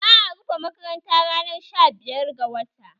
Za'a rufe makaranta ranar sha biyar ga wata